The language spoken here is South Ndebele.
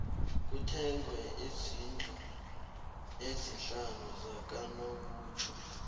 kuthengwe izndlu ezisihlanu zakanobutjho